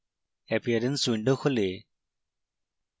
appearance window খোলে